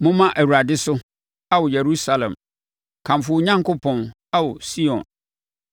Momma Awurade so, Ao Yerusalem; kamfo wo Onyankopɔn, Ao Sion,